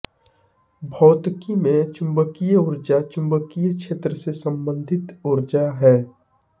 भौतिकी में चुम्बकीय ऊर्जा चुम्बकीय क्षेत्र से सम्बन्धित ऊर्जा है